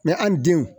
an denw